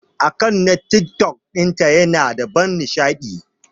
Akant na TikTok dinta Yana da ban nishadi.